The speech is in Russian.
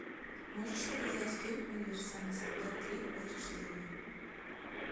можешь показать фильм универсальный солдат три возрождение